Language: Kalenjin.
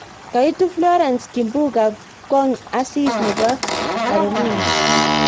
Kait Florence Kimbunga Kong asis nebo Carolina.